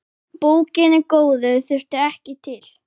Bókina góðu þurfti ekki til.